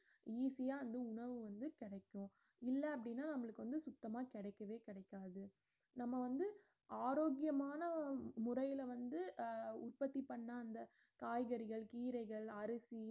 easy யா வந்து உணவு வந்து கிடைக்கும் இல்ல அப்படின்னா நம்மளுக்கு வந்து சுத்தமா கிடைக்கவே கிடைக்காது நம்ம வந்து ஆரோக்கியமான முறையில வந்து அஹ் உற்பத்தி பண்ண அந்த காய்கறிகள் கீரைகள் அரிசி